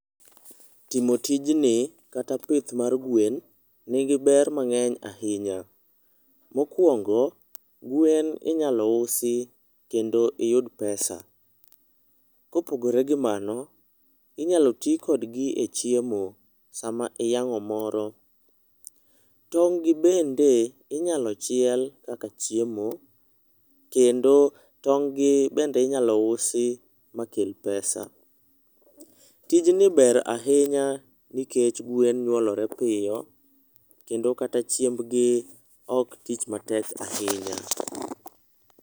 Timo tijni kata pith mar gwen nigi ber mangeny ahinya. Mokwongo gwen inyalo usi kendo iyud pesa. Kopogore gi mano inyalo ti kodgi e chiemo sama iyang'o moro . Tong gi bende inyalo chiel kaka chiemo kedo tong' gi bende inyalo usi ma kel pesa . Tij ni ber ahinya nikech gwen nyuolore piyo kendo kaka chiembgi ok tich matek ahinya.